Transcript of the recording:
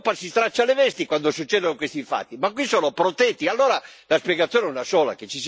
In tutto il mondo l'Europa si straccia le vesti quando succedono questi fatti ma qui sono protetti.